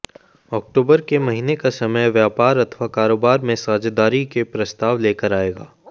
अक्टूबर के महीने का समय व्यापार अथवा कारोबार में साझेदारी के प्रस्ताव लेकर आएगा